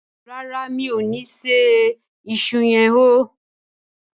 ràrá mi'o ní ṣe iṣu yen hó.